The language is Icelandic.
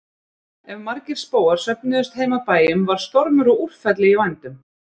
Ef margir spóar söfnuðust heim að bæjum var stormur og úrfelli í vændum.